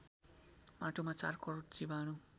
माटोमा ४ करोड जीवाणु